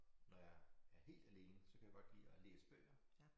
Når jeg er helt alene så kan jeg godt lide at læse bøger